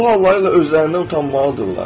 Bu hallarıyla özlərindən utanmalıdırlar.